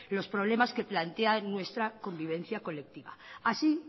los problemas que plantean nuestra convivencia colectiva así